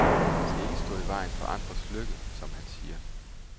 Man skal ikke stå i vejen for andres lykke, som han siger.